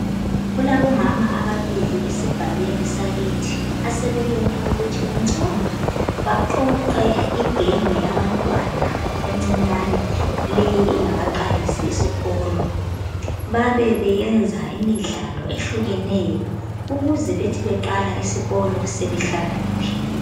Kulabomama ababili esigabeni sakithi asebebone ukuthi kungcono baqoqe igenge yabantwana encinyane le engakaqalisi isikolo. Babe beyenza imidlalo ehlukeneyo ukuze bethi beqala isikolo sebehlakaniphile.